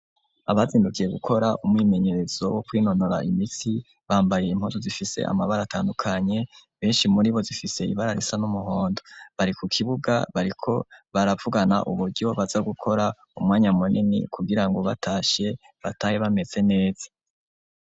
Abazindukiye gukora umwimenyerezo wo kwinonora imitsi bambayiye impuzu zifise amabara atandukanye benshi muri bo zifise ibara risa n'umuhondo bariko kibuga bariko baravugana uburyo baza gukora umwanya muneni kugira ngo batashe batahe bameze neza.